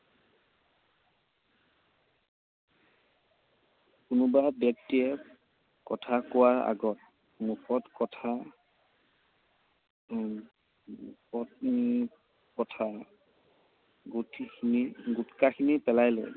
কোনোবা ব্যক্তিয়ে কথা কোৱাৰ আগত মুখত কথা, উম পত্নী কথা গুটখাখিনি পেলাই লৈ